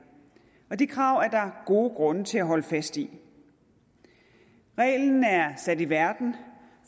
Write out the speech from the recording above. det krav er der gode grunde til at holde fast i reglen er sat i verden